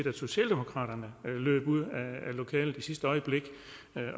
at socialdemokraterne løb ud af lokalet i sidste øjeblik